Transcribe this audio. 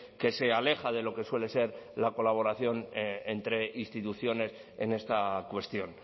que se aleja de lo que suele ser la colaboración entre instituciones en esta cuestión